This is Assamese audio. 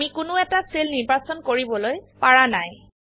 আমি কোনো এটা সেল নিৰ্বাচন কৰিবলৈ পাৰা নাই160